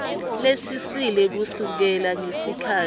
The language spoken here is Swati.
lesisele kusukela ngesikhatsi